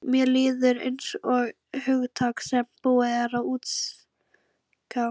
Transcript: Mér líður einsog hugtaki sem búið er að útjaska.